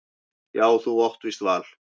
Jú þú átt víst val.